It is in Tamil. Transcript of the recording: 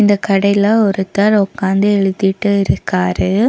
இந்த கடைல ஒருத்தர் ஒக்காந்து எழுதிட்டு இருக்கிறாரு.